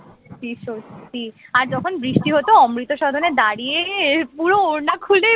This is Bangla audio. সত্যি সত্যি আর যখন বৃষ্টি হত অমৃত সদনে দাঁড়িয়ে পুরো ওড়না খুলে